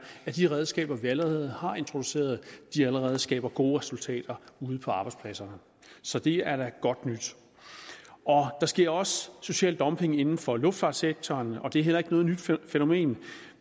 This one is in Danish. at de redskaber vi allerede har introduceret allerede skaber gode resultater ude på arbejdspladserne så det er da godt nyt der sker også social dumping inden for luftfartssektoren og det er heller ikke noget nyt fænomen